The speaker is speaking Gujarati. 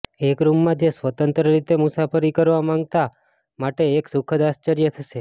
એક રૂમમાં જે સ્વતંત્ર રીતે મુસાફરી કરવા માંગતા માટે એક સુખદ આશ્ચર્ય થશે